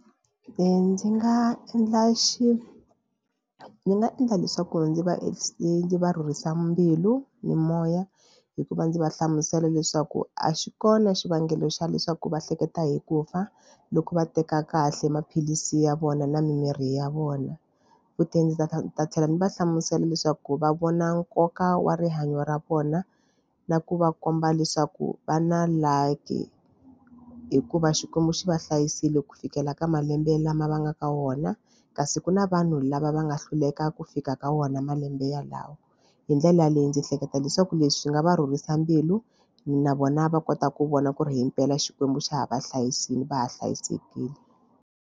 Ndzi nga endla xi nga endla leswaku ndzi va ndzi va rhurhisa mbilu na moya hikuva ndzi va hlamusela leswaku a xi kona xivangelo xa leswaku va hleketa hi ku fa loko va teka kahle maphilisi ya vona na mimirhi ya vona futhi ndzi ta ta ta tlhela ndzi va hlamusela leswaku va vona nkoka wa rihanyo ra vona na ku va komba leswaku va na luck hikuva Xikwembu xi va hlayisile ku fikela ka malembe lama va nga ka wona kasi ku na vanhu lava va nga hluleka ku fika ka wona malembe yalawo. Hi ndlela leyi ndzi hleketa leswaku leswi swi nga va rhurhisa mbilu na vona va kota ku vona ku ri himpela Xikwembu xa ha va hlayisile va ha hlayisekile.